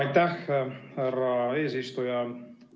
Aitäh, härra eesistuja!